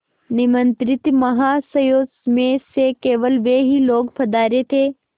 निमंत्रित महाशयों में से केवल वे ही लोग पधारे थे